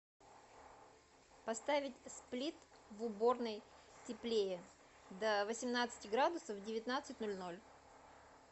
поставить сплит в уборной теплее до восемнадцати градусов в девятнадцать ноль ноль